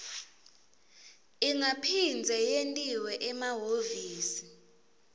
ingaphindze yentiwa emahhovisi